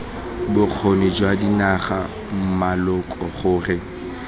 bokgoni jwa dinaga maloko gore